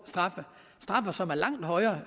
straffe som er langt højere